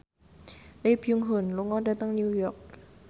Lee Byung Hun lunga dhateng New York